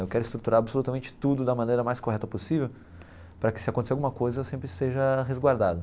Eu quero estruturar absolutamente tudo da maneira mais correta possível para que, se acontecer alguma coisa, eu sempre seja resguardado.